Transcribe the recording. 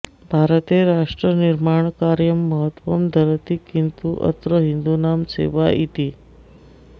भारते राष्ट्रनिर्माणकार्यं महत्वं धरति किन्तु अत्र हिन्दुनां सेवा इति